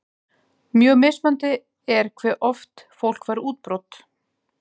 Mjög mismunandi er hve oft fólk fær útbrot.